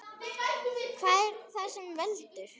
Hvað er það sem veldur?